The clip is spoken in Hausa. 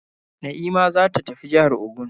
Na'ima za ta tafi jihar Ogun.